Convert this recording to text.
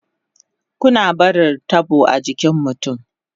Kuna na barin tabo a jikin mutun